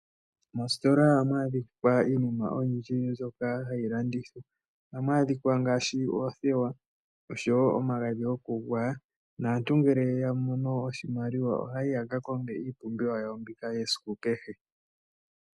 Mositola ohamu adhika iinima oyindji mbyoka hayi landithwa ngaashi oothewa oshowo omagadhi gokugwaya. Aantu ngele ya mono oshimaliwa oha yayi yaka konge iipumbiwa yawo yasiku kehe.